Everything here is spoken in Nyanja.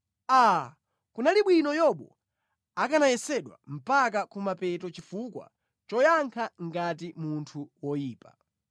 Aa, kunali bwino Yobu akanayesedwa mpaka kumapeto chifukwa choyankha ngati munthu woyipa!